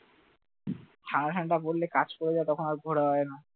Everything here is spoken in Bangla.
ঠান্ডা টাণ্ডা পড়লে কাজ করা যায়? তখন আর ঘোরাও হয় না